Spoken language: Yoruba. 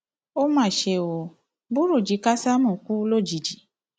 ó mà ṣe ó burújí kásámù kú lójijì